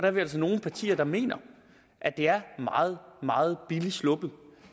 er vi altså nogle partier der mener at det er meget meget billigt sluppet